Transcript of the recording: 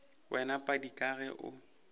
wena padi ka ge o